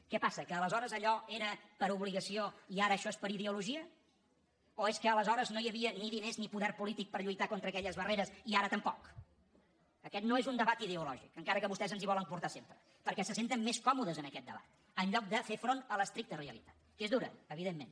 què passa que aleshores allò era per obligació i ara això és per ideologia o és que aleshores no hi havia ni diners ni poder polític per lluitar contra aquelles barreres i ara tampoc aquest no és un debat ideològic encara que vostès ens hi volen portar sempre perquè se senten més còmodes en aquest debat en lloc de fer front a l’estricta realitat que és dura evidentment